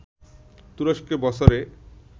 তুরস্কে বছরে